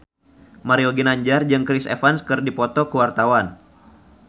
Mario Ginanjar jeung Chris Evans keur dipoto ku wartawan